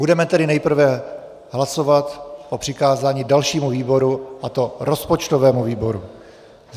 Budeme tedy nejprve hlasovat o přikázání dalšímu výboru, a to rozpočtovému výboru.